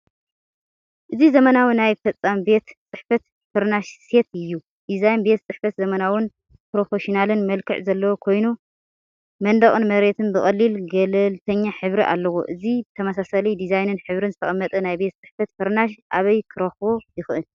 እዚ ዘመናዊ ናይ ፈጻሚ ቤት ጽሕፈት ፍርናሽ ሴት እዩ። ዲዛይን ቤት ጽሕፈት ዘመናውን ፕሮፌሽናልን መልክዕ ዘለዎ ኮይኑ፡ መንደቕን መሬትን ብቐሊል ገለልተኛ ሕብሪ ኣለዎ። እዚ ብተመሳሳሊ ዲዛይንን ሕብርን ዝተቐመጠ ናይ ቤት ጽሕፈት ፍርናሽ ኣበይ ክረኽቦ ይኽእል?